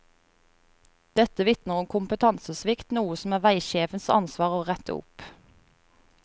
Dette vitner om kompetansesvikt, noe som er veisjefens ansvar å rette opp.